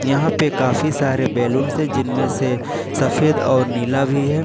यहां पे काफी सारे बैलून से जिनमें से सफेद और नीला भी है।